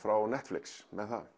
frá Netflix með það